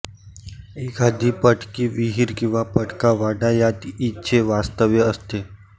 एखादी पडकी विहीर किंवा पडका वाडा यात हिचे वास्तव्य असते